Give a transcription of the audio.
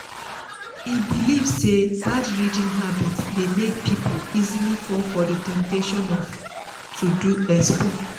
e believe say bad reading habit dey make people easily fall for the temptation to do expo.